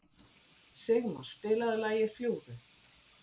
Signar, spilaðu lagið „Fljúgðu“.